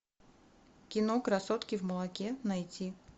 кино красотки в молоке найти